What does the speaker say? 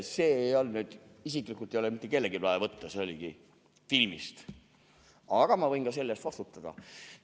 " Seda ei olnud nüüd kellelgi vaja isiklikult võtta, see oligi filmist, aga ma võin selle eest vastutada.